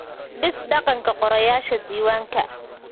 Dhis dhaqanka qorayaasha diiwaanka.